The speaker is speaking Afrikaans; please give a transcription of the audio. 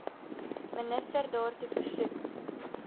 minister daartoe versoek